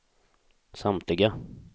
samtliga